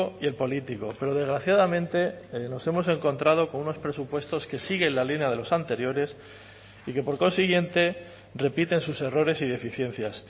y el político pero desgraciadamente nos hemos encontrado con unos presupuestos que siguen la línea de los anteriores y que por consiguiente repiten sus errores y deficiencias